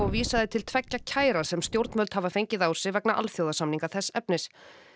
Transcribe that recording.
vísaði til tveggja kæra sem stjórnvöld hafa fengið á sig vegna alþjóðasamninga þess efnis